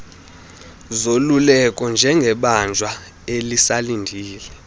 zoluleko njengebanjwa elisalindele